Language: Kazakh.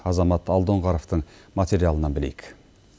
азамат алдоңғаровтың материалынан білейік